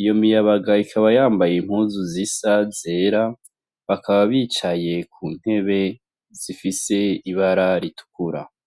iyo miyabaga ikaba yambaye impuzu zisa zera, bakaba bicaye ku ntebe zifise ibara ritukura.